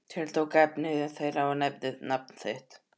Tiltók efni þeirra og nefndi nafn þitt.